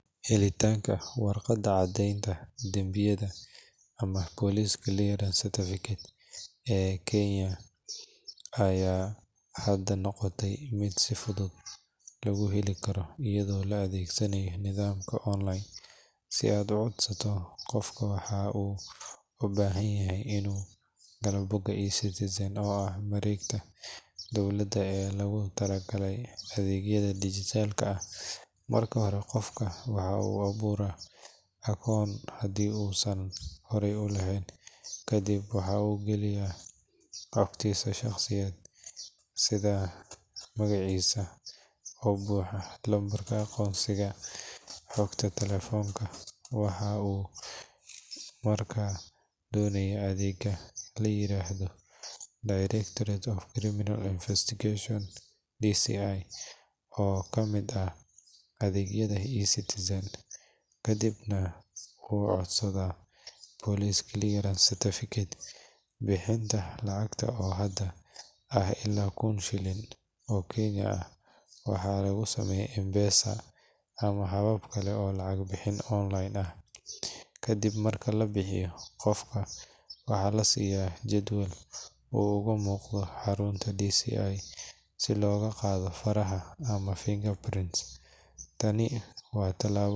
Helitaanka warqadda caddeynta dambiyada ama Police Clearance Certificate ee Kenya ayaa hadda noqotay mid si fudud lagu heli karo iyadoo la adeegsanayo nidaamka online. Si aad u codsato, qofka waxa uu u baahan yahay inuu galo bogga eCitizen, oo ah mareegta dowladda ee loogu talagalay adeegyada dijitaalka ah. Marka hore, qofka waxa uu abuuraa akoon haddii uusan horey u lahayn, kadibna waxa uu galiyaa xogtiisa shaqsiyadeed sida magaciisa oo buuxa, lambarka aqoonsiga, iyo xogta taleefanka. Waxa uu markaa dooranayaa adeegga la yiraahdo Directorate of Criminal Investigations (DCI) oo ka mid ah adeegyada eCitizen, kadibna uu codsadaa Police Clearance Certificate. Bixinta lacagta oo hadda ah ilaa kun shilin oo Kenyan ah waxaa lagu sameeyaa M-Pesa ama habab kale oo lacag bixin online ah. Kadib marka lacagta la bixiyo, qofka waxaa la siiyaa jadwal uu uga muuqdo xarunta DCI si loogu qaado faraha ama fingerprints. Tani waa tallaabo.